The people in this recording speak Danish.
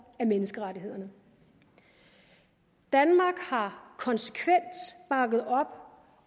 af menneskerettighederne danmark har konsekvent bakket op